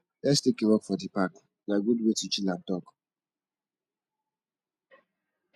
lets take a walk for the park na good way to chill and talk